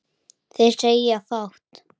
Þeir segja fátt